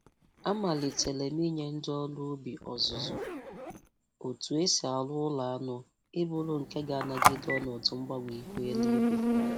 Amalitere m inye ndị ọrụ ubi ọzụzụ otu e si arụ ụlọ anụ ịbụrụ nke ga- anagide ọnọdụ mgbanwe ihu eluigwe.